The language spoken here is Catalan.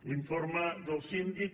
l’informe del síndic